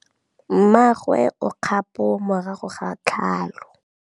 Mmagwe o kgapô morago ga tlhalô.